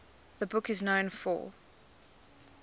the book is known for